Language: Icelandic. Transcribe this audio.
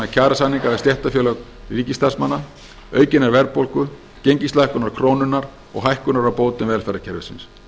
kjarasamninga við stéttarfélög ríkisstarfsmanna aukinnar verðbólgu gengislækkunar krónunnar og hækkunar á bótum velferðarkerfisins